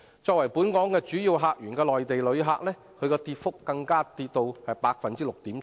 作為本港主要客源的內地旅客，跌幅更高達 6.7%。